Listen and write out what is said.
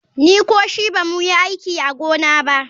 Ni ko shi ba mu yi aiki a gona ba.